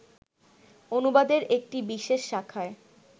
অনুবাদের একটি বিশেষ শাখায়